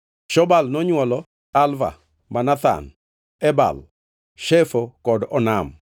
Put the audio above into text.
Shobal nonywolo: Alvan, Manahath, Ebal, Shefo kod Onam.